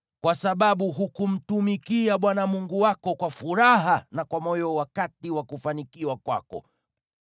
Kwa sababu hukumtumikia Bwana Mungu wako kwa furaha na kwa moyo wakati wa kufanikiwa kwako,